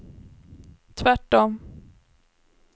tvärtom